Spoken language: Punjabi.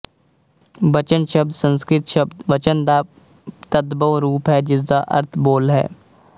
ਬਚਨ ਸ਼ਬਦ ਸੰਸਕ੍ਰਿਤ ਸ਼ਬਦ ਵਚਨ ਦਾ ਤਦਭਵ ਰੂਪ ਹੈ ਜਿਸਦਾ ਅਰਥ ਬੋਲ ਹੈ